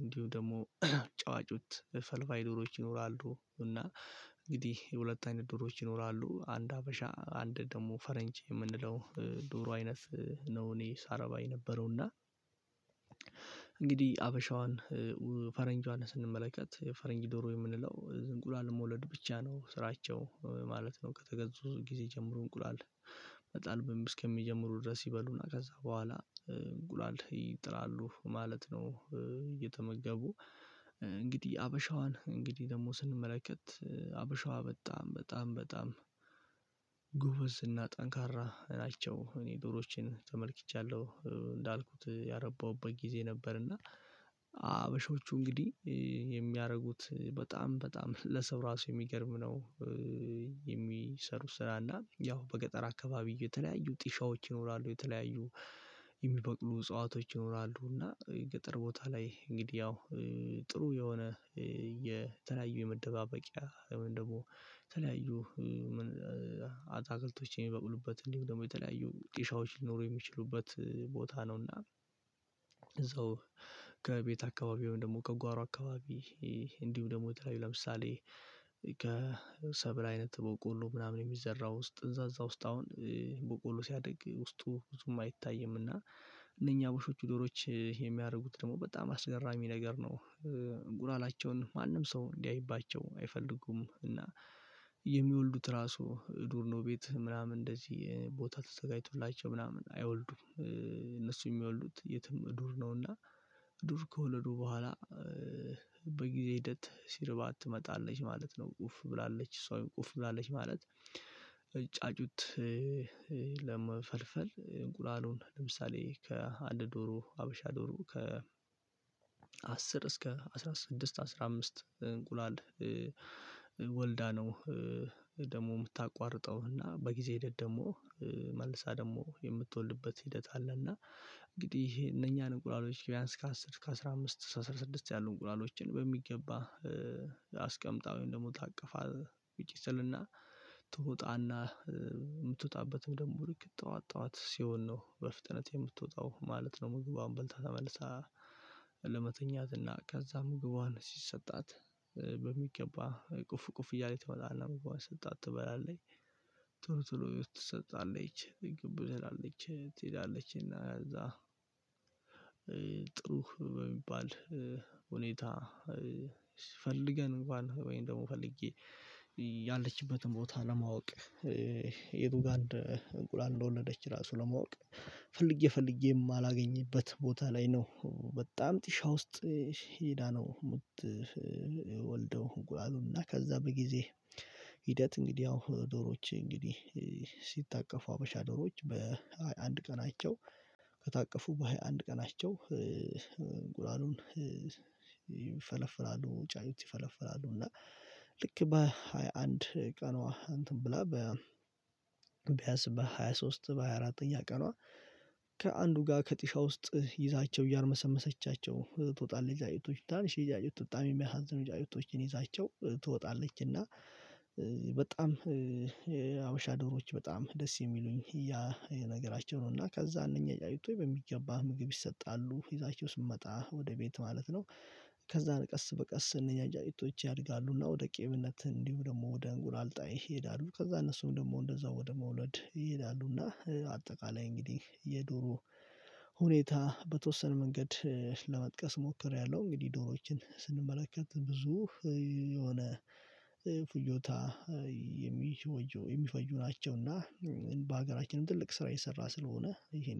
እንዲሁ ደግሞ ጫጩት ፈልፋይ ዶሮች ይኖራሉ። እና እንግዲህ የሁለት አይነት ዶሮዎች ይኖራሉ አንድ ሀበሻ አንድ ደግሞ ፈረንጅ የምንለው ዶሮ አይነት ነው። እኔ ሳረባ የነበረው እና። እንግዲህ ሀበሻዋን ፈረንጇን ስንመለከት ፈረንጅ ዶሮ የምንለው እንቁላል መውለድ ብቻ ነው ስራቸው ማለት ነው። ከተገዙ ጊዜ ጀምሮ እንቁላል መጣል እስከሚጀምሩ ድረስ ይበሉና ከዛ በኋላ እንቁላል ይጥላሉ ማለት ነው። እየተመገቡ እንግዲህ ሀበሻዋን እንግዲህ ደግሞ ስንመለከት ሀበሻዋ በጣም በጣም ጎበዝ እና ጠንካራ ናቸው። እኔ ዶሮቼን ተመልክቻለሁ እንዳልኩት ያረባሁበት ጊዜ ነበር። እና ሀበሾቹ እንግዲህ የሚያደርጉት በጣም በጣም ለሰው ራሱ የሚገርም ነው። የሚሰሩ ስራ እና ያው በገጠር አካባቢ የተለያዩ ጢሻዎች ይኖራሉ የተለያዩ የሚበቅሉ እጽዋቶች ይኖራሉ። እና ገጠር ቦታ ላይ እንግዲህ ያው ጥሩ የሆነ የተለያዩ የመደባበቂያ ደግሞ የተለያዩ አትክልቶችን የሚበቅሉበት እንዲሁ ደግሞ የተለያዩ ጢሻዎች ሊኖሩ የሚችሉበት ቦታ ነውና። እዛው ከቤት አካባቢ ወይም ደግሞ ከጓሮ አካባቢ እንዲሁ ደግሞ የተለያዩ ለምሳሌ ከሰብል አይነት በቦቆሎ ምናምን የሚዘራው ውስጥ እዛእዛ ውስጥ አሁን በቆሎ ሲያድግ ውስጡ ብዙም አይታይም እና እነኚ የሀበሾች ዶሮወች የሚያደርጉት ደግሞ በጣም አስገራሚ ነገር ነው። ጉላላቸውን ማንም ሰው እንዲያይባቸው አይፈልጉም እና ራሱ ዱር ነው ቤት ምናምን እንደዚህ ቦታ ተዘጋጅቶላቸው ምናምን አይወልዱም። እነሱ የሚወልዱት የትም ዱር ነውና ዱር ከወለዱ በኋላ በጊዜ ሂደት ሲርባት ትመጣለች ማለት ነው። ኡፍ ብላለች ሰው ኡፍ ብላለች ማለት። ጫጩት ለመፈልፈል እንቁላሉን ለምሳሌ ከአንድ ዶሮ ሀበሻ ዶሮ ከ እስከ አስራ ስድስት አስራ አምስት እንቁላል ወልዳ ነው ደግሞ የምታቋርጠው እና በጊዜ ሂደት ደግሞ መልሳ ደግሞ የምትወልድበት ሂደት አለ። እና እንግዲህ እነኛን እንቁላሎች ቢያንስ ከአስር ከአሥራ አምስት ከአስራ ስድስት ያሉ እንቁላሎችን በሚገባ አስቀምጣውን ደግሞ ታቅፋ ቢጭስልና ትወጣና የምትወጣበትም ደግሞ ልክ ጠዋት ጠዋት ሲሆን ነው በፍጥነት የምትወጣው ማለት ነው። ምግቧን በልታ ተመልሳ ከዛ ምግቧን ሲሰጣት በሚገባ ቁፍ ቁፍ እያለች ትወጣለች ምግቧን ሰጣት ትበላለች ቶሎ ቶሎ ትሰጣለች ግብ ትላለች ትሄዳለች እና እዛ ጥሩ በሚባል ሁኔታ። ፈልገን እንኳን ወይም ደግሞ ፈልጌ ያለችበትን ቦታ ለማወቅ የቱ ጋር እንቁላል እንደወለደች ራሱ ለማወቅ ፈልጌ ፈልጌ የማላገኝበት ቦታ ላይ ነው። በጣም ጢሻ ውስጥ ሂዳ ነው ምትወልደው አሉና ከዛ በጊዜ ሂደት እንግዲህ ያው ዶሮዎች እንግዲህ ሲታቀፉ ሀበሻ ዶሮዎች በሃያ አንድ ቀናቸው ከታቀፉ በሃያ አንድ ቀናቸው እንቁላሉ ይፈለፍላሉ። ጫጩት ይፈለፍላሉ እና ልክ በሃያ አንድ ቀኗ እንትን ብላ ቢያንስ በሃያ ሶስት በ ሃያ አራትተኛ ቀኗ ከአንዱ ጋር ከጢሻ ውስጥ ይዛቸው እያርመሰመሰቻቸው ትወጣለች። ጫጩቶች ትናንሽዬ ጫጩት በጣም የሚያሳዝኑ ጫጩቶችን ይዛቸው ትወጣለች እና በጣም የሀበሻ ዶሮዎች በጣም ደስ የሚሉኝ ያ የነገራቸው ነው። እና ከዛ እነኚህ አይቶ በሚገባ ምግብ ይሰጣሉ ይዛችሁ ስመጣ ወደ ቤት ማለት ነው። ከዛን ቀስ በቀስ እነኛ ጫጩቶች ያድጋሉና ወደ ቅሚነት እንዲሁ ደግሞ ወደ እንቁላል ጣይነት ይሄዳሉ። ከዛ እነሱም ደግሞ እንደዛው ወደ መውለድ ይሄዳሉ። እና አጠቃላይ እንግዲህ የዶሮ ሁኔታ በተወሰነ መንገድ ለመጥቀስ ሞክሬያለሁ። እንግዲህ ዶሮዎችን ስንመለከት ብዙ የሆነ ፍጆታ የሚፈጁ ናቸውና በሀገራችንም ትልቅ ስራ እየሰራ ስለሆነ ይሄን